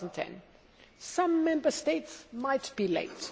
2010. Some Member States might be late.